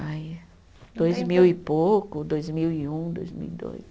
Ai, dois mil e pouco, dois mil e um, dois mil e dois.